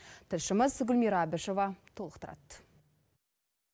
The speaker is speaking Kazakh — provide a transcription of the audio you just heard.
тілшіміз гүлмира әбішева толықтырады